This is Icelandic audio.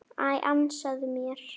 Æ, ansaðu mér.